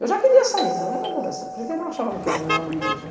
Eu já queria sair, porque não achava que era meu ambiente.